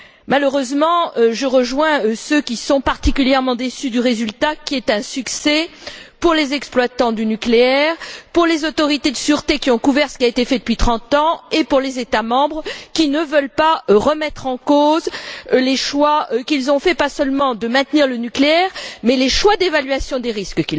Malheureusement, je rejoins ceux qui sont particulièrement déçus du résultat, qui est un succès pour les exploitants du nucléaire, pour les autorités de sûreté qui ont couvert ce qui a été fait depuis trente ans et pour les États membres qui ne veulent pas remettre en cause les choix qu'ils ont faits, pas seulement de maintenir le nucléaire, mais les choix d'évaluation des risques.